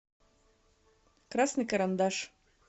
красный карандаш